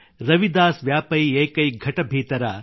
ರವಿದಾಸ್ ವ್ಯಾಪೈ ಏಕೈ ಘಟ ಭೀತರ